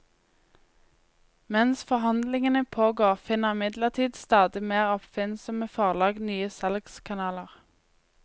Mens forhandlingene pågår, finner imidlertid stadig mer oppfinnsomme forlag nye salgskanaler.